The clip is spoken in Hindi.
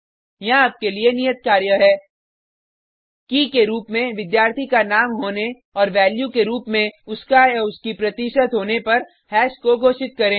यहाँ आपके लिए नियत कार्य है की के रुप में विद्यार्थी का नाम होने और वैल्यू के रुप में उसकाउसकी प्रतिशत होने पर हैश को घोषित करें